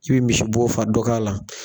K'i bi misi bɔ fa dɔ k'ala